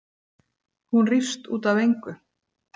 Hún rífst út af engu.